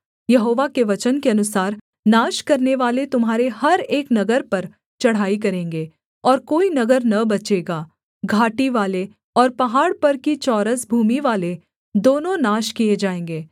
यहोवा के वचन के अनुसार नाश करनेवाले तुम्हारे हर एक नगर पर चढ़ाई करेंगे और कोई नगर न बचेगा घाटीवाले और पहाड़ पर की चौरस भूमिवाले दोनों नाश किए जाएँगे